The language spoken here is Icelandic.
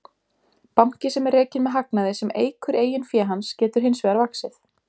Banki sem er rekinn með hagnaði sem eykur eigin fé hans getur hins vegar vaxið.